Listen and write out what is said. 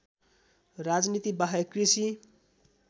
राजनीति बाहेक कृषि